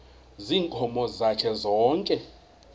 ziinkomo zakhe zonke